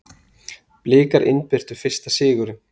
Blikar innbyrtu fyrsta sigurinn